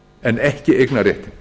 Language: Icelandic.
en ekki eignarréttinn